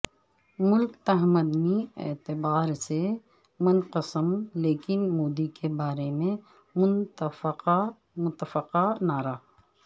ملک تمدنی اعتبار سے منقسم لیکن مودی کے بارے میں متفقہ نعرہ